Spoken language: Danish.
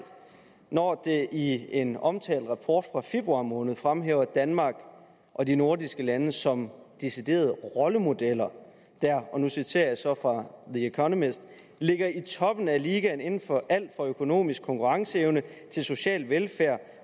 når det i en omtalt rapport fra februar måned fremhæver danmark og de nordiske lande som deciderede rollemodeller der og nu citerer jeg så fra the economist ligger i toppen af ligaen inden for alt fra økonomisk konkurrenceevne til social velfærd